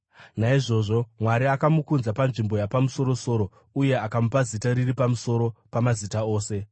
Naizvozvo Mwari akamukudza panzvimbo yapamusoro-soro, uye akamupa zita riri pamusoro pamazita ose,